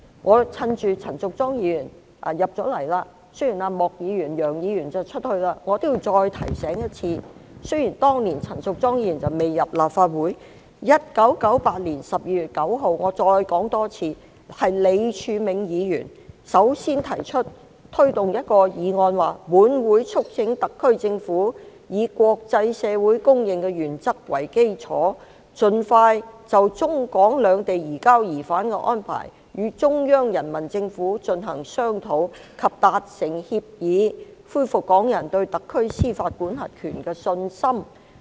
我趁陳淑莊議員進入了會議廳，雖然莫議員和楊議員正在離席，我也要再次提醒，雖然當年陳淑莊議員未加入立法會 ，1998 年12月9日，我重申一次，是李柱銘議員首先提出一項議案："本會促請特區政府以國際社會公認的原則為基礎，盡快就中港兩地移交疑犯的安排與中央人民政府進行商討及達成協議，恢復港人對特區司法管轄權的信心。